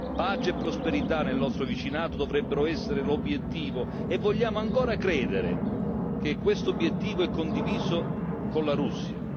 Pace e prosperità nel nostro vicinato dovrebbero essere l'obiettivo, e vogliamo ancora credere che tale obiettivo sia condiviso con la Russia.